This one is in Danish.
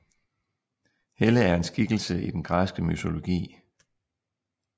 Helle er en skikkelse i den græske mytologi